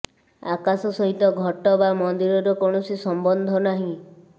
ଆକାଶ ସହିତ ଘଟ ବା ମନ୍ଦିରର କୌଣସି ସମ୍ୱନ୍ଧ ନାହିଁ